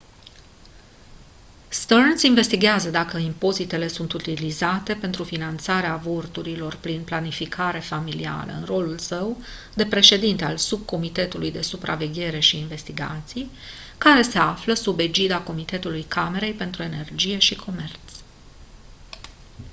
stearns investighează dacă impozitele sunt utilizate pentru finanțarea avorturilor prin planificarea familială în rolul său de președinte al subcomitetului de supraveghere și investigații care se află sub egida comitetului camerei pentru energie și comerț